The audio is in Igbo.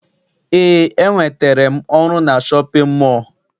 Eé, enwetere m ọrụ na shọpịn mọọ.